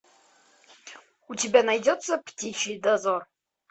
у тебя найдется птичий дозор